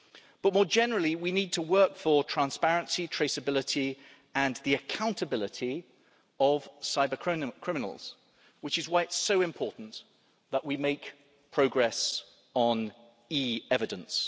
But, more generally, we need to work for transparency, traceability and the accountability of cyber criminals, which is why it is so important that we make progress on e-evidence.